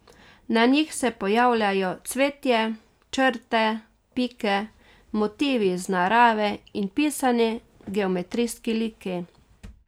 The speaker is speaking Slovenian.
Na njih se pojavljajo cvetje, črte, pike, motivi iz narave in pisani geometrijski liki.